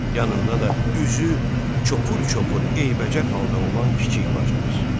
Yanında da üzü çopur-çopur eybəcər halda olan kiçik bacımız.